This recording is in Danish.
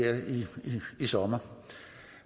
sommer